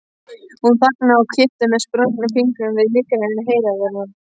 Hún þagnaði og fiktaði með sprungnum fingrum við nýgræðing heiðarinnar.